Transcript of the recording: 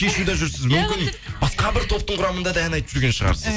кешьюда жүрсіз мүмкін басқа бір топтың құрамында да ән айтып жүрген шығарсыз